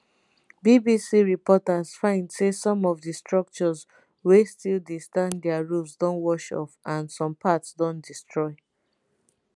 bbc reporters find say some of di structures wey still dey stand dia roofs don wash off and some parts don destroy